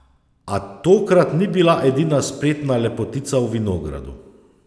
A tokrat ni bila edina spretna lepotica v vinogradu.